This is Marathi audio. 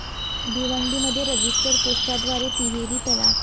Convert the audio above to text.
भिवंडीमध्ये रजिस्टर पोस्टाद्वारे 'तिहेरी तलाक'!